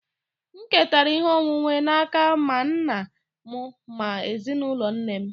M ketara ihe onwunwe n'aka ma nna m ma ezinụlọ nne m